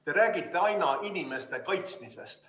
Te räägite aina inimeste kaitsmisest.